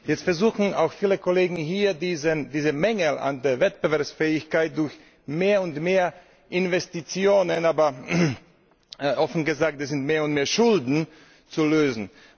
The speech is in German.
Jetzt versuchen auch viele Kollegen hier, diesen Mangel an Wettbewerbsfähigkeit durch mehr und mehr Investitionen aber, offen gesagt, es sind mehr und mehr Schulden zu lösen.